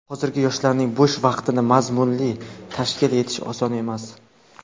Hozirgi yoshlarning bo‘sh vaqtini mazmunli tashkil etish oson emas.